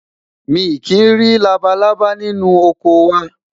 mí kí nri labalábá ninu ọkọ wa